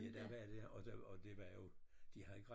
Ja der var det og det og det var jo de havde ikke